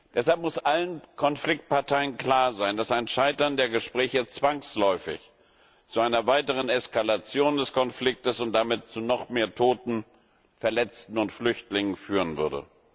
Deshalb muss allen Konfliktparteien klar sein, dass ein Scheitern der Gespräche zwangsläufig zu einer weiteren Eskalation des Konfliktes und damit zu noch mehr Toten, Verletzten und Flüchtlingen führen würde.